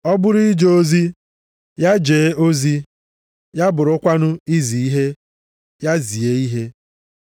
Ọ bụrụ ije ozi, ya jee ozi, ya bụrụkwanụ izi ihe, ya zie ihe.